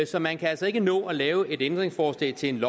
så man kan altså ikke nå at lave et ændringsforslag til et